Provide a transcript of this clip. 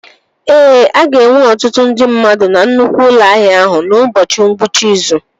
Ee, a ga-enwe ọtụtụ ndị mmadụ na nnukwu ụlọ ahịa ahụ n'ụbọchị ngwụcha izu